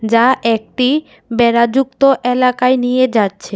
যা একটি বেড়াযুক্ত এলাকায় নিয়ে যাচ্ছে।